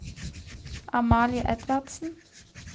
Amalie Edvardsen